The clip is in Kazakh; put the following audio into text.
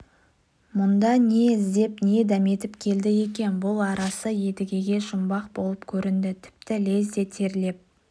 мұнда не іздеп не дәметіп келді екен бұл арасы едігеге жұмбақ болып көрінді тіпті лезде терлеп